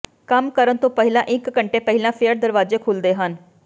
ਕੰਮ ਕਰਨ ਤੋਂ ਪਹਿਲਾਂ ਇਕ ਘੰਟੇ ਪਹਿਲਾਂ ਫੇਅਰ ਦਰਵਾਜੇ ਖੁੱਲ੍ਹਦੇ ਹਨ